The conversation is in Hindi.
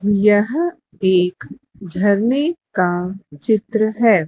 यह एक झरने का चित्र है।